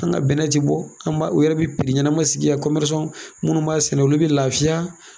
An ka bɛnɛ ti bɔ an b'a u yɛrɛ bɛ ɲɛnama sigi yan minnu b'a sɛnɛ olu bɛ laafiya.